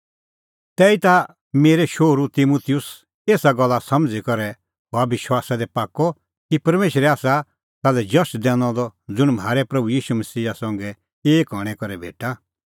तैहीता हे मेरै शोहरू तिमुतुस एसा गल्ला समझ़ी करै हअ विश्वासा दी पाक्कअ कि परमेशरै आसा ताल्है जश दैनअ द ज़ुंण म्हारै मसीहा ईशू संघै एक हणैं करै भेटा